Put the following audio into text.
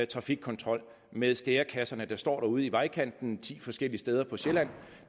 trafikkontrol med stærekasser der står ude i vejkanten ti forskellige steder på sjælland